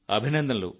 అభినందనలు